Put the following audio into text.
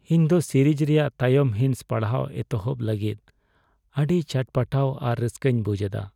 ᱤᱧ ᱫᱚ ᱥᱤᱨᱤᱡ ᱨᱮᱭᱟᱜ ᱛᱟᱭᱚᱢ ᱦᱤᱸᱥ ᱯᱟᱲᱦᱟᱣ ᱮᱛᱚᱦᱚᱯ ᱞᱟᱹᱜᱤᱫ ᱟᱹᱰᱤ ᱪᱦᱟᱴᱯᱟᱴᱟᱣ ᱟᱨ ᱨᱟᱹᱥᱠᱟᱹᱧ ᱵᱩᱡᱷᱮᱫᱟ !